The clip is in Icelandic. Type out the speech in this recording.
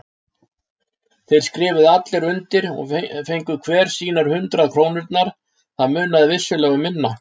Þeir skrifuðu allir undir og fengu hver sínar hundrað krónurnar, það munaði vissulega um minna.